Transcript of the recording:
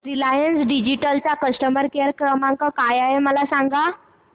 Reliance Digital चा customer care क्रमांक काय आहे मला सांगा